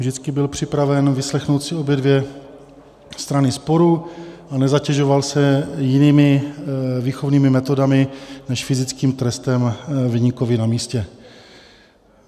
Vždycky byl připraven vyslechnout si obě dvě strany sporu a nezatěžoval se jinými výchovnými metodami než fyzickým trestem viníkovi na místě.